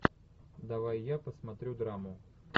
давай я посмотрю драму